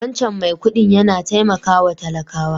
Wancan mai kuɗin yana taimakawa talakawa.